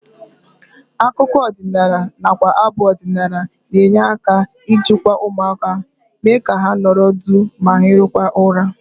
Akụkọ ọdịnala nakwa abụ ọdịnala na-enye aka ijikwa ụmụaka, mee ka ha nọrọ duu ma hirikwa ụra